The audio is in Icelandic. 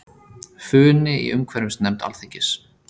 Funi í umhverfisnefnd Alþingis